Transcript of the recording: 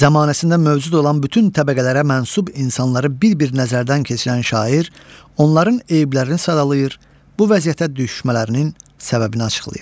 Zamanəsində mövcud olan bütün təbəqələrə mənsub insanları bir-bir nəzərdən keçirən şair onların eyblərini sadalayır, bu vəziyyətə düşmələrinin səbəbini açıqlayır.